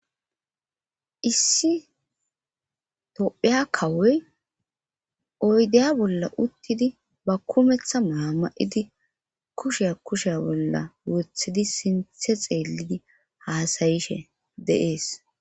Issi topheya kawoy oydeya bolla uttidi ba kumeththa maama7idi kushea kushea bolla wothidi sinthe xeellidi haasayishe deees